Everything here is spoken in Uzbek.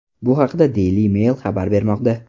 Bu haqda Daily Mail xabar bermoqda .